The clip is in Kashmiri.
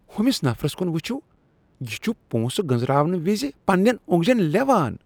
ہوٚمِس نفرس كُن وُچھِو۔ یہِ چُھ پۄنٛسہٕ گٔنزراونہٕ وِزِ پننیٚن اوٚنٛگجن لیوان۔